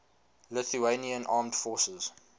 lithuanian armed forces